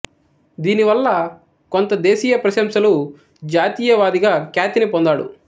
దీని వల్ల కొంత దేశీయ ప్రశంసలు జాతీయవాదిగా ఖ్యాతిని పొందాడు